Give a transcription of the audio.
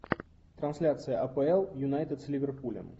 трансляция апл юнайтед с ливерпулем